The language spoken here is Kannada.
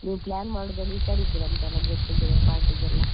ನೀವು plan ಮಾಡೋದ್ರಲ್ಲಿ ಹುಷಾರ್ ಇದಿರಿರಂತೆಯೆಲ್ಲ get together party ಗೆಲ್ಲ.